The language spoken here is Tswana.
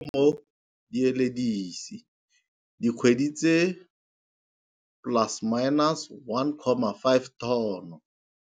Mo dieledisi dikgwedi tse plus minus 1,5 tono.